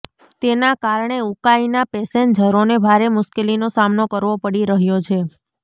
તેના કારણે ઉકાઈના પેસેન્જરોને ભારે મુશ્કેલીનો સામનો કરવો પડી રહ્યો છે